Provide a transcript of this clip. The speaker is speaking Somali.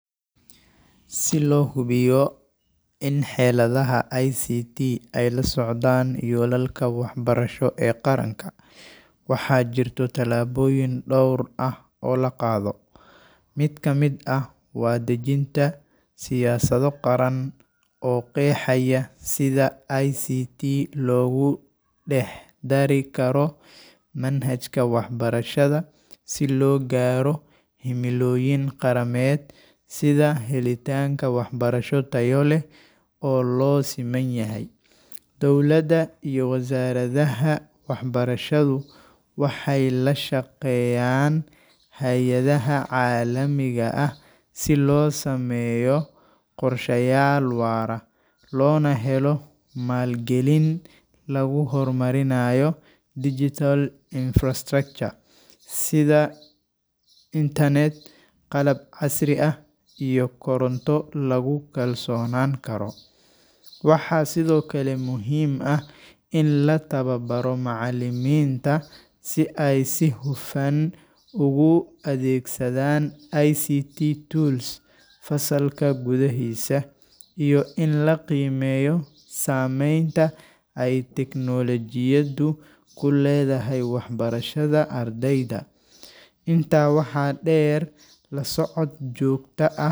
Si loo hubiyo in xeeladaha ICT ay la socdaan yoolalka waxbarasho ee qaranka, waxaa jirta tallaabooyin dhowr ah oo la qaado. Mid ka mid ah waa dejinta siyaasado qaran oo qeexaya sida ICT loogu dhex dari karo manhajka waxbarashada si loo gaaro himilooyin qarameed sida helitaanka waxbarasho tayo leh oo loo siman yahay. Dowladda iyo wazaaradaha waxbarashadu waxay la shaqeeyaan hay’adaha caalamiga ah si loo sameeyo qorshayaal waara, loona helo maalgelin lagu horumarinayo digital infrastructure sida internet, qalab casri ah, iyo koronto lagu kalsoonaan karo. Waxaa sidoo kale muhiim ah in la tababaro macallimiinta si ay si hufan ugu adeegsadaan ICT tools fasalka gudaahiisa, iyo in la qiimeeyo saameynta ay teknoolojiyaddu ku leedahay waxbarashada ardayda. Intaa waxaa dheer, la socod joogto ah .